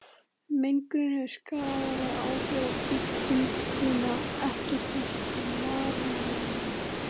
Mengunin hefur skaðleg áhrif á bygginguna, ekki síst á marmarann.